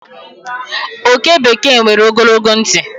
oke bekee nwere ogologo ntị